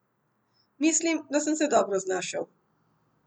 Mislim, da sem se dobro znašel.